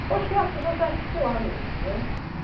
Eu acho que é as pessoas se articular mesmo, né?